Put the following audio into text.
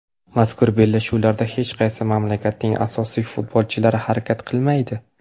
Mazkur bellashuvlarda hech qaysi mamlakatning asosiy futbolchilari harakat qilmaydi.